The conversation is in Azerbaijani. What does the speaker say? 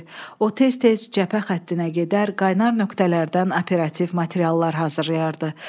O tez-tez cəbhə xəttinə gedər, qaynar nöqtələrdən operativ materiallar hazırlayardı.